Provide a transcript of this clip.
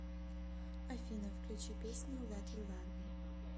афина включи песню лэт ю лав ми